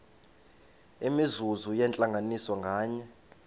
imizuzu yentlanganiso nganye